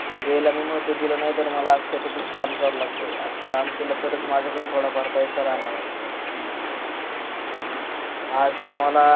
याला मी महत्व दिल नाही तर आज मला शेतातच काम कराव लागत यार काम केल तरच थोड फार माझ्याकड पैसा राहणार आहे आज ते मला